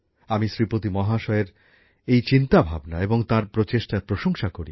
আমি শ্রীপতি মহাশয়ের এই চিন্তাভাবনা এবং তাঁর প্রচেষ্টার প্রশংসা করি